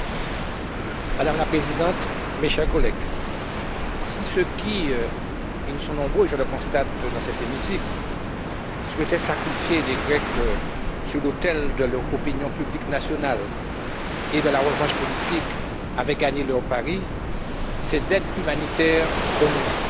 Madame la Présidente, mes chers collègues, si ceux qui et ils sont nombreux, je le constate dans cet hémicycle souhaitaient sacrifier les Grecs sur l'autel de leur opinion publique nationale et de la revanche politique avaient gagné leur pari, c'est d'aide humanitaire que nous discuterions